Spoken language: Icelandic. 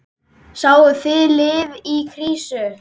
Sáuð þið lið í krísu?